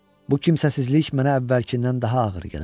Bu kimsəsizlik mənə əvvəlkindən daha ağır gəlirdi.